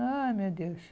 Ai, meu Deus.